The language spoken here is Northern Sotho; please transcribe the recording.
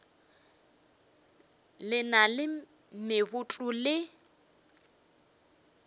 le na le meboto le